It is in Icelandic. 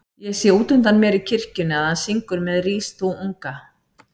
Ég sé útundan mér í kirkjunni að hann syngur með Rís þú unga